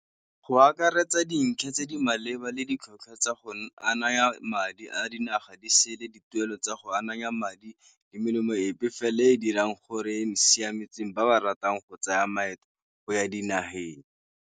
Go akaretsa dintlha tse di maleba le ditlhotlhwa tsa go a naya madi a dinaga di sele dituelo tsa go ananya madi le melemo epe fela e dirang gore e siametseng ba ba ratang go tsaya maeto go ya dinageng.